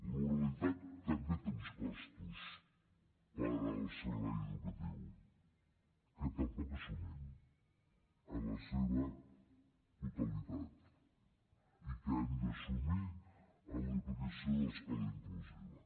l’oralitat també té uns costos per al servei educatiu que tampoc assumim en la seva totalitat i que hem d’assumir amb l’aplicació de l’escola inclusiva